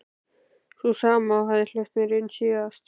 Sú sama og hafði hleypt mér inn síðast.